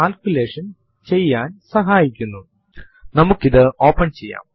ഇത് hello world എന്ന സന്ദേശം സ്ക്രീനിൽ പ്രിന്റ് ചെയ്യും